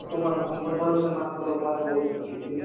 ସମାନ ଠାରୁ ସେମାନଙ୍କ ଲୋକ ବହୁତ ଶିକ୍ଷିତ